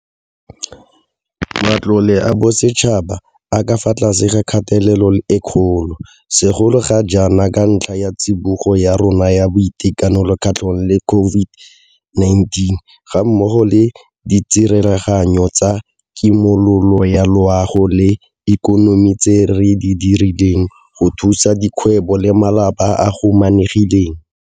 Matlole a bosetšhaba a ka fa tlase ga kgatelelo e kgolo, segolo ga jaana ka ntlha ya tsibogo ya rona ya boitekanelo kgatlhanong le COVID-19 gammogo le ditsereganyo tsa kimololo ya loago le ikonomi tse re di dirileng go thusa dikgwebo le malapa a a humanegileng.